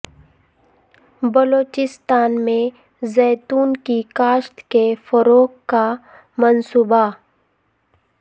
بلوچستان میں زیتون کی کاشت کے فروغ کا منصوبہ